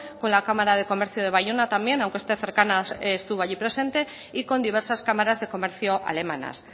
con la cámara de comercio de bayona también aunque esté cercana estuvo allí presente y con diversas cámaras de comercio alemanas